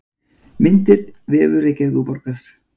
Myndir: Vefur Reykjavíkurborgar.